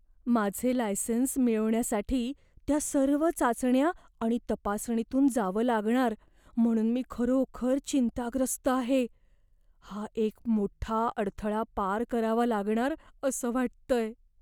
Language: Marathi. माझे लायसेन्स मिळवण्यासाठी त्या सर्व चाचण्या आणि तपासणीतून जावं लागणार म्हणून मी खरोखर चिंताग्रस्त आहे. हा एक मोठ्ठा अडथळा पार करावा लागणार असं वाटतय.